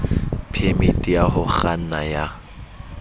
phemiti ya ho kganna ya